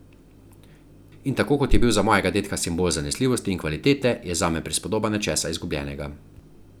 In tako kot je bil za mojega dedka simbol zanesljivosti in kvalitete, je zame prispodoba nečesa izgubljenega.